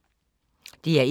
DR1